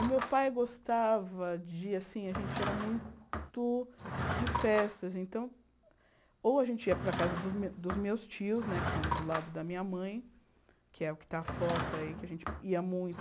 O meu pai gostava de, assim, a gente era muito de festas, então, ou a gente ia para a casa dos me dos meus tios né, que são do lado da minha mãe, que é o que está a foto aí, que a gente ia muito.